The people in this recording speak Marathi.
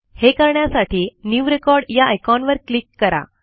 हे करण्यासाठी न्यू रेकॉर्ड या आयकॉनवर क्लिक करा